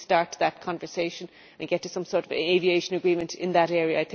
We need to start that conversation and get to some sort of aviation agreement in that area.